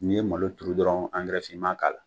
N'i ye malo turu dɔrɔn an angɛrɛ finman k'a la.